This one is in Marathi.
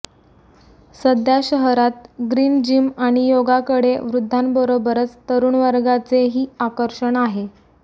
सध्या शहरात ग्रीन जिम आणि योगा कडे वृद्धांबरोबरच तरुणवर्गाचे ही आकर्षण आहे